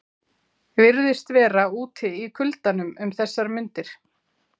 Virðist vera úti í kuldanum um þessar mundir.